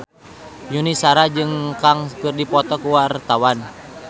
Yuni Shara jeung Sun Kang keur dipoto ku wartawan